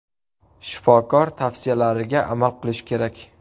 Shifokor tavsiyalariga amal qilish kerak.